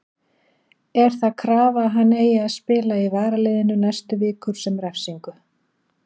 Er það krafa að hann eigi að spila í varaliðinu næstu vikur sem refsingu?